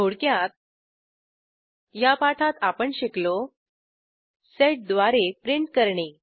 थोडक्यात या पाठात आपण शिकलो सेड sedद्वारे प्रिंट करणे